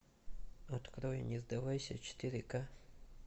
открой не сдавайся четыре ка